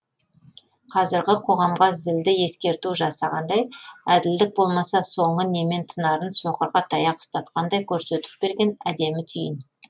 қазіргі қоғамға зілді ескерту жасағандай әділдік болмаса соңы немен тынарын соқырға таяқ ұстатқандай көрсетіп берген әдемі түйін